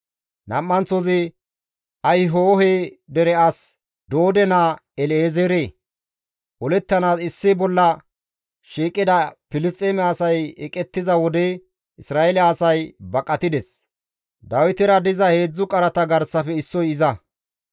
Nam7anththozi Ahihohe dere as Doode naa El7ezeere; olettanaas issi bolla shiiqida Filisxeeme asay eqettiza wode Isra7eele asay baqatides; Dawitera diza heedzdzu qarata garsafe issoy iza.